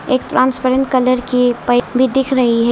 एक transparent colour की pipe भी दिख रही है।